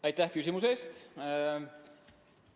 Aitäh küsimuse eest!